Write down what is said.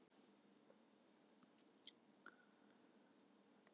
Kristján Már Unnarsson: Fara þessar tillögur ekki bara í pappírstætarann?